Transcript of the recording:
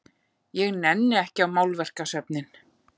Ég nenni ekki á málverkasöfnin.